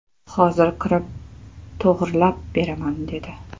Hozir kirib, to‘g‘rilab beraman, dedi.